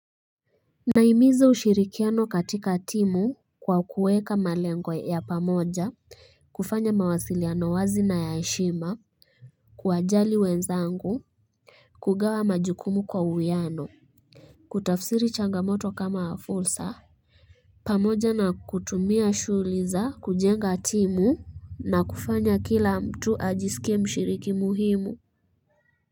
Nahimiza ushirikiano katika timu kwa kuweka malengo ya pamoja, kufanya mawasiliano wazi na ya heshima, kuwajali wenzangu, kugawa majukumu kwa uwiano, kutafsiri changamoto kama fursa, pamoja na kutumia shughuli za kujenga timu na kufanya kila mtu ajisikie mshiriki muhimu.